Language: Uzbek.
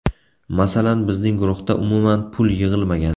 Masalan, bizning guruhda umuman pul yig‘ilmagan.